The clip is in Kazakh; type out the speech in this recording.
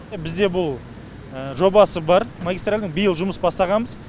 бізде бұл жобасы бар магистральдің биыл жұмыс бастағанбыз